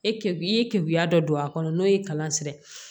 E ke i ye keguya dɔ don a kɔnɔ n'o ye kalan sira ye